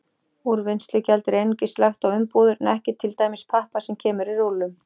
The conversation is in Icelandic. Úrvinnslugjald er einungis lagt á umbúðir en ekki til dæmis pappa sem kemur í rúllum.